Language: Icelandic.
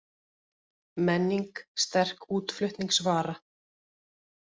Menning sterk útflutningsvara